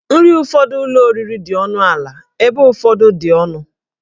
Nri ụfọdụ ụlọ oriri dị ọnụ ala ebe ụfọdụ dị ọnụ